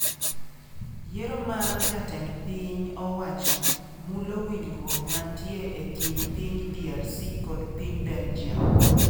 Yiero mar jatend piny owacho mulo winjruok mantie e kind piny DRC kod piny Belgium